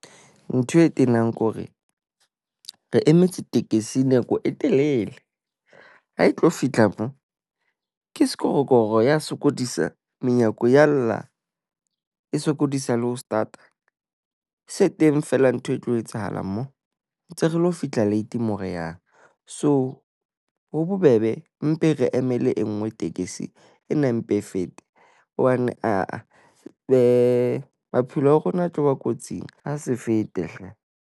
Ntho e tenang ke hore re emetse tekesi nako e telele. Ha e tlo fihla mo ke sekorokoro ya sokodisa. Menyako ya lla. E sokodisa le ho start-a. Se teng fela ntho e tlo etsahala mo ntse re lo fihla late mo re yang. So, ho bobebe mpe re emele e nngwe tekesi. Ena e mpe e fete hobane aa maphelo a rona a tloba kotsing. Ha se fete hle.